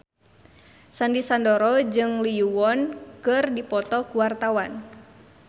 Sandy Sandoro jeung Lee Yo Won keur dipoto ku wartawan